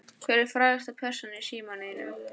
Hver er frægasta persónan í símanum þínum?